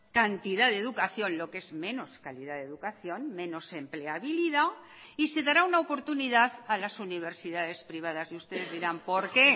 cantidad de educación lo que es menos calidad de educación menos empleabilidad y se dará una oportunidad a las universidades privadas y ustedes dirán por qué